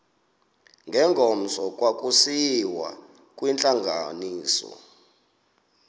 ngengomso kwakusiyiwa kwintlanganiso